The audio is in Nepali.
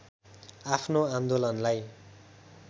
आफ्नो आन्दोलनलाई